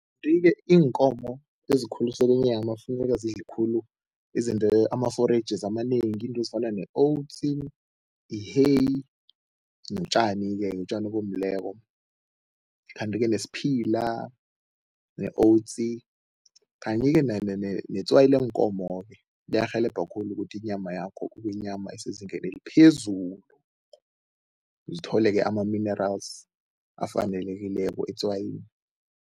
Kanti-ke iinkomo ezikhuliselwa inyama funeka zidle khulu izinto amaforejisi amanengi, iinto ezifana i-hay notjani-ke, utjani obomileko. Kanti-ke nesiphila ne-oats kanye-ke netswayi leenkomo-ke liyarhelebha khulu ukuthi inyama yakho kube yinyama esezingeni eliphezulu, zithole-ke ama-minerals afanelekileko etswayini.